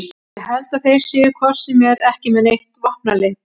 Ég held að þeir séu hvort sem er ekki með neitt vopnaleit